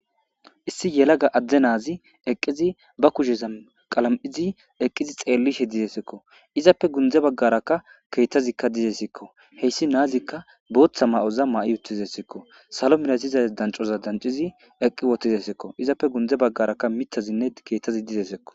issi yelaga adde naazi eqqizi ba kusheza qalam'izi eqqizi xeellishe didesekko izappe gundze baggarakka keettazikka dizesekko heyssi naazikka booththa ma'oza ma'i utizessikko salo minatiza dancoza dancizi eqqi wotizesekko izappe gundze baggarakka mitazinne keettazi dizesekko